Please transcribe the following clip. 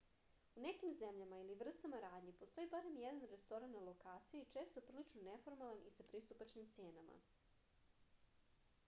u nekim zemljama ili vrstama radnji postoji barem jedan restoran na lokaciji često prilično neformalan i sa pristupačnim cenama